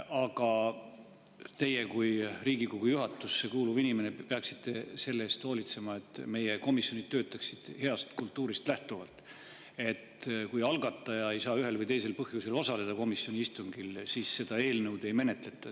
Aga teie kui Riigikogu juhatusse kuuluv inimene peaksite selle eest hoolitsema, et meie komisjonid töötaksid heast kultuurist lähtuvalt, nii et kui algataja ei saa ühel või teisel põhjusel komisjoni istungil osaleda, siis seda eelnõu ei menetleta.